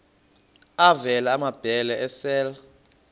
avela amabele esel